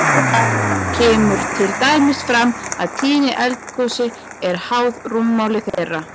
Þar kemur til dæmis fram að tíðni eldgosi er háð rúmmáli þeirra.